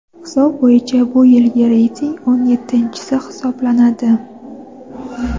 Hisob bo‘yicha bu yilgi reyting o‘n yettinchisi hisoblanadi.